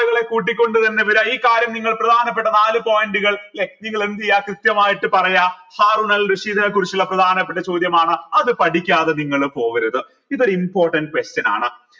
കൂട്ടിക്കൊണ്ടു തന്നെ വര ഈ കാര്യം നിങ്ങൾ പ്രധാനപ്പെട്ട നാലു point കൾ ല്ലെ നിങ്ങൾ എന്ത് ചെയ്യാ കൃത്യമായിട്ട് പറയാം ഹാറൂനൽ റഷീദിനെ കുറിച്ചുള്ള പ്രധാനപ്പെട്ട ചോദ്യമാണ് അത് പഠിക്കാതെ നിങ്ങൾ പോകരുത് ഇതൊരു important question ആണ്